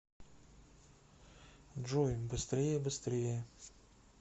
джой быстрее быстрее